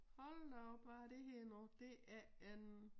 Hold da op hvad er er det her nu det er en